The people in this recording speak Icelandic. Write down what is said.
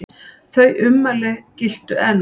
Þau ummæli giltu enn.